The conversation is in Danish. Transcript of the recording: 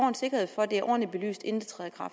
sikkerhed for at det er ordentligt belyst inden